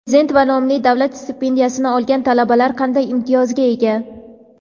Prezident va nomli davlat stipendiyasini olgan talabalar qanday imtiyozga ega?.